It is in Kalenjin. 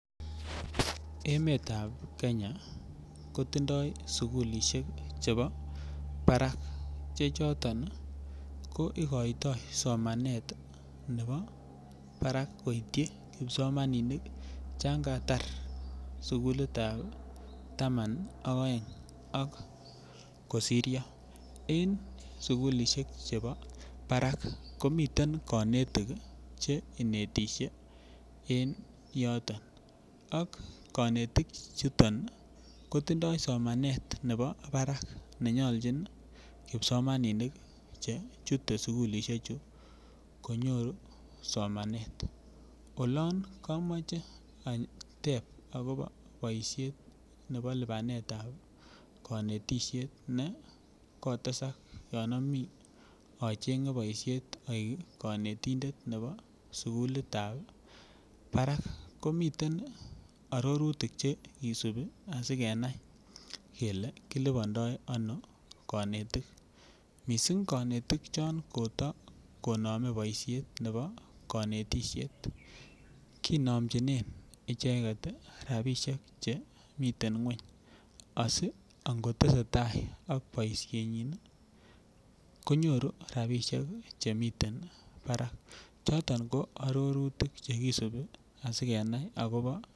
Emetab kenya kotindoi sugulisiek chebo barak che choton ii ikoito somanet ne bo barak koityi kipsomaninik changa tar sugulitab taman ak aeng ak kosiryo en sugulisiek chebo barak komiten konetik che inetisie en yoton ak konetik chuton ii kotindoi somanet ne bo barak nenyolchin kipsomaninik che chute sugulisiechu konyoru somanet, olon kamoche ateb akopo boisiet ne bo lipanetab konetisiet ne kotesak yon am acheng'e boisiet aik konetindet ne bo sugulit ne bo barak, komiten arorutik chekisupi asikenai kele kilipando anoo konetik missing konetik chon koto konomen boisiet ne bo konetisiet kinomchinen icheket rapisiek chemiten ngweny asi angotesetai ak boisienyin konyoru rapisiek chemiten barak choton ko arorutik chekisupi asikenai akopo .